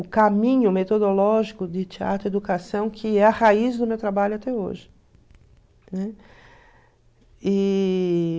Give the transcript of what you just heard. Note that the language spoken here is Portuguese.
o caminho metodológico de teatro-educação, que é a raiz do meu trabalho até hoje, né? E..